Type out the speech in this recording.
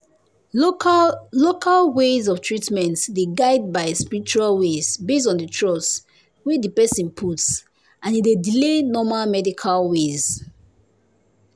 local local ways of treatment dey guided by spiritual ways based on the trust wey the person put and e dey delay normal medical ways.